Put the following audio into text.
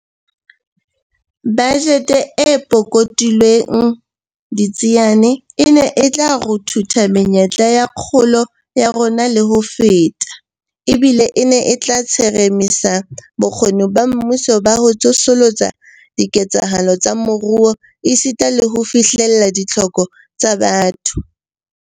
Bajete e pukutlilweng ditsiane e ne e tla ruthutha menyetla ya kgolo ya rona le ho feta, ebile e ne e tla tsheremisa bokgoni ba mmuso ba ho tsosolosa diketsahalo tsa moruo esita le ho fihlella ditlhoko tsa batho.